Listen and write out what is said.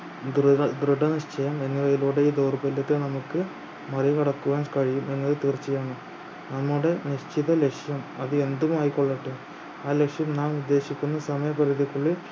ദൃഢ ദൃഢനിശ്ചയം എന്നിവയിലൂടെ ഈ ദൗർബല്യത്തെ നമ്മുക്ക് മറികടക്കുവാൻ കഴിയും എന്നത് തീർച്ചയാണ് നമ്മുടെ നിശ്ചിത ലക്‌ഷ്യം അത് എന്തും ആയിക്കൊള്ളട്ടെ ആ ലക്‌ഷ്യം നാം ഉപേക്ഷിക്കുന്ന സമയപരിധിക്കുള്ളിൽ